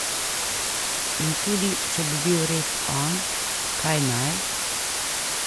In tudi če bi bil res on, kaj naj?